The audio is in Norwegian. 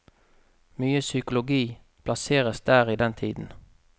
Mye psykologi plasseres der i den tiden.